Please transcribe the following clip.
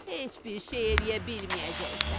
Heç bir şey eləyə bilməyəcəksən.